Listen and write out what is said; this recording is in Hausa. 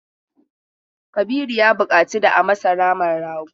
Kabiru ya buƙaci da a masa naman rago.